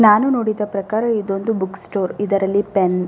ನಾನು ನೋಡಿದ ಪ್ರಕಾರ ಇದೊಂದು ಬುಕ್ ಸ್ಟೋರ್ ಇದರಲ್ಲಿ ಪೆನ್ --